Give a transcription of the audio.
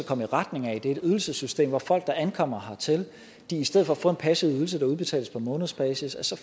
komme i retning af er et ydelsessystem hvor folk der ankommer hertil i stedet for at få en passiv ydelse der udbetales på månedsbasis så